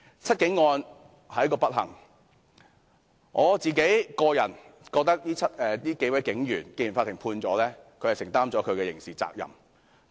"七警案"是一個不幸，我個人認為既然法院已作出判決，這7位警員已承擔其刑事責任。